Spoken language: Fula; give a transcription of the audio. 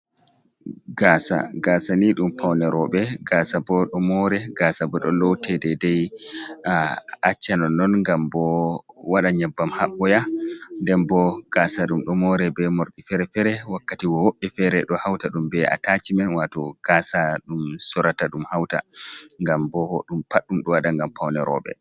Gaasa, Gaasa ni ɗum pawne rowɓe, Gaasa bo ɗo moore, Gaasa bo ɗo loote deedey acca nonnon ngam bo waɗa nyebbam haɓɓoya. Nden boo Gaasa ɗum ɗo mooree bee morɗi feere-feere, wakkatigoo woɓɓe feere ɗo hawta ɗum bee ataacimen, waato Gaasa ɗum soorata ɗum hawta, ngam boo ɗum pat ɗum ɗo waɗa ngam pawne rowɓe.